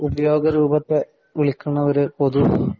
ഉദ്യോഗരൂപത്തെ വിളിക്കണ ഒരു പൊതു